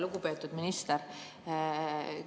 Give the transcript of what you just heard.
Lugupeetud minister!